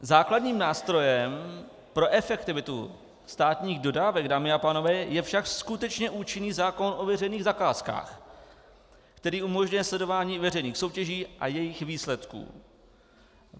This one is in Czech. Základním nástrojem pro efektivitu státních dodávek, dámy a pánové, je však skutečně účinný zákon o veřejných zakázkách, který umožňuje sledování veřejných soutěží a jejich výsledků.